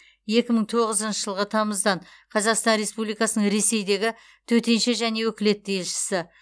екі мың тоғызыншы жылғы тамыздан қазақстан республикасының ресейдегі төтенше және өкілетті елшісі